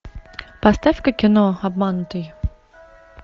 поставь ка кино обманутый